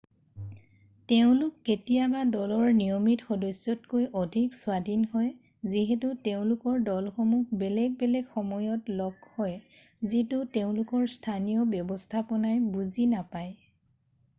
তেওঁলোক কেতিয়াবা দলৰ নিয়মিত সদস্যতকৈ অধিক স্বাধীন হয় যিহেতু তেওঁলোকৰ দলসমূহ বেলেগ বেলেগ সময়ত লগ হয় যিটো তেওঁলোকৰ স্থানীয় ব্যৱস্থাপনাই বুজি নাপায়